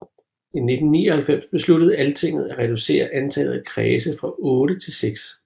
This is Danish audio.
I 1999 besluttede Altinget at reducere antallet af kredse fra otte til seks